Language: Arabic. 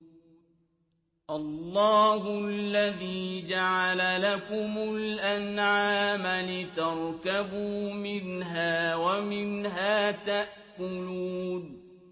اللَّهُ الَّذِي جَعَلَ لَكُمُ الْأَنْعَامَ لِتَرْكَبُوا مِنْهَا وَمِنْهَا تَأْكُلُونَ